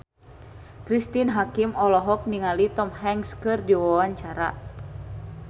Cristine Hakim olohok ningali Tom Hanks keur diwawancara